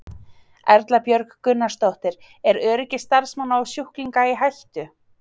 Erla Björg Gunnarsdóttir: Er öryggi starfsmanna og sjúklinga í hættu?